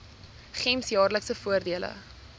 gems jaarlikse voordele